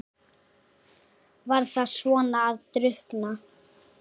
Var það svona að drukkna?